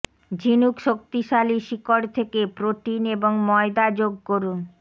ঝিনুক শক্তিশালী শিকড় থেকে প্রোটিন এবং ময়দা যোগ করুন